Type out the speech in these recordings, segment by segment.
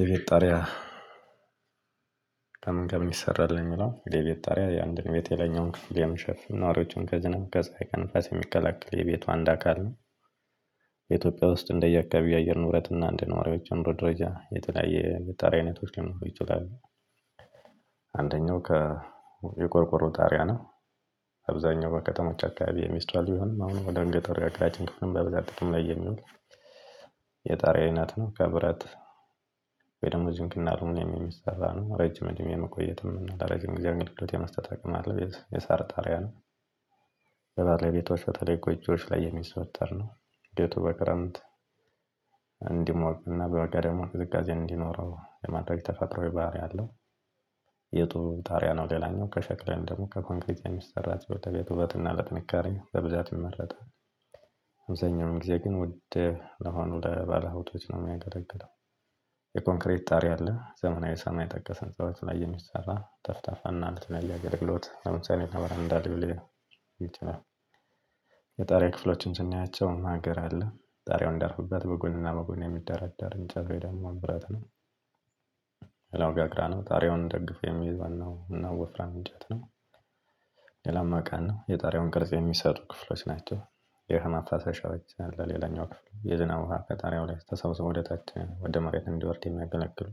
የቤት ጣሪያ ከምን ከምን ይሰራል? ነው የምለው የቤት ጣሪያ የአንድን ቤት የለኛውን ክፍል የምሸፍም ኗሪዎችን ከዝናብ፤ ከፀሀይ፤ ከንፋስ፤ የሚከላከል የቤቱ አንድ አካል ነው። በኢትዮጵያ ውስጥ እንደየአካባቢው የአየር ንብረት እና እንደዬ ነዋሪዎች የኑሮ ደረጃ የተለያየ ጣሪያ አይነቶች ሊኖሩ ይችላሉ። አንደኛው ከ የቆርቆሮ ጣሪያ ነው። አብዛኛው ከከተማው አካባቢ የሚስተዋሉ ቢሆንም አሁን ወደ ገጠሩ አካባቢያችን ክፍልም በብዛት ጥቅም ላይ የሚሉት የጣሪያ አይነት ነው። ከብረት ወይ ደግሞ ዚንክና አሉምኔም የሚሰራ ነው ረጅም እድሜ የመቆየትም እና ለረጅም ጊዜ አገልግሎት የመስጠት አቅም ያለው የሳር ጣሪያ ነው። በባለቤቶች በተለይ ጎጆዎች ላይ የሚዘወተር ነው ቤቱ በክረምት እንዲሞቅ እና በበጋ ደግሞ ዝቅዝቃዜ እንዲኖረው የማድረግ ተፈጥሮአዊ የባህሪ አለው። የጡብ ታሪያ ነው የላኛው ከሸክለን ደግሞ ከኮንግሪት የሚሰራ ለቤት ውበት እና ለጥንካሬ በብዛት ይመረጣል። አብዛኛው ጊዜ ግን ውድ ለሆኑ ለባለሀቶች ነው የሚያገለግለው። የኮንክሬት ጣሪያ አለ ዘመናዊ ሰማይ ጠቀሰን ህንፃዎች ላይ የሚሰራ ጠፍጣፋና ለተለያዬ አገልግሎት ለምሳሌ ለበረንዳ ልሆን ይችላል የጣሪያ ክፍሎችን ስናያቸው ማገር አለ ጣሪያውን እንድያርፍበት በጎንና በጎን የሚደራደር እንጨት ወይ ደግሞ ብረት ነው። ሌላው ጋግራ ነው ጣሪያውን ደግፎ የሚይዝ ዋናው ወፍራም እንጨት ነው። ሌላ መቃን ነው የጣሪያውን ቅርጽ የሚሰጡ ክፍሎች ናቸው። የውሃ ማፋሰሻዎች ለሌላኛው ክፍል የዝናብ ውሃ ከጣሪያው ላይ ተሰብስቦ ወደ ታች ወደ መሬት እንዲወርድ የሚያገለግል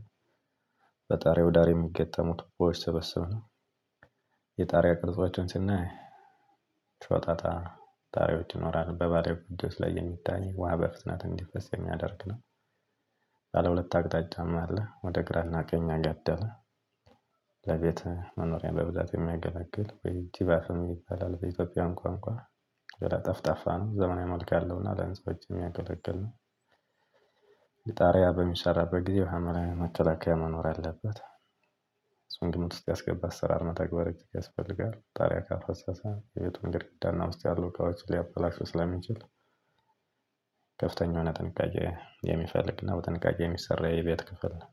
በጣሪው ዳር የሚገጠሙት ቦይ ስበስብ ነው። የጣሪያ ቅርጾችን ሲናይ ሾጣጣ ጣሪያዎች ይኖራሉ። ውሃ በፍጥነት እንዲፈስ የሚያደርግ ነው። ባለሁለት አቅጣጫም አለ ወደ ግራና ቀኝ ያገደለ። ለቤት መኖርያ በብዛት የምያገለግል ወይም ቲባፈን ይባላል በኢትዮጵያውያን ቋንቋ ጠፍጣፋ ነው ዘመናዊ መልክ ያለው እና ለህንፃዎች የምያገለግል ነው። ጣርያ በሚሰራበት ጊዜ መከላከያ መኖር አለበጥ ግምት ውስጥ ያስገባ አሰራር ነው መተግበር ያስፈልጋል ጣሪያ ካፈሰሰ የቤቱን ግድግዳና ውስጥ ያሉ እቃዎችን ሊያበላሹ ስለሚችሉ ከፍተኛ የሆነ ጥንቃቄ የሚፈልግና በጥንቃቄ የሚሰራ የቤት ክፍል ነው።